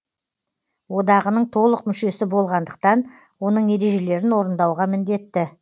одағының толық мүшесі болғандықтан оның ережелерін орындауға міндетті